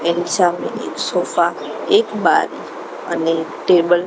N સામે એક sofa એક બારી અને ટેબલ --